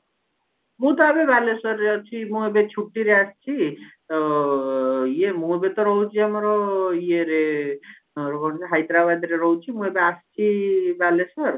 ମୁଁ ତ ଏବେ ବାଲେଶ୍ଵରରେ ଅଛି ଇଏ ମୁଁ ବି ତ ରହୁଛି ଆମର ଇଏରେ କଣ କି ହାଇଦ୍ରାବାଦରେ ରହୁଛି ମୁଁ ଏବେ ଆସିଚି ବାଲେଶ୍ଵର